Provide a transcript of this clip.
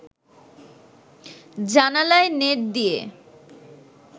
জানালায় নেট দিয়ে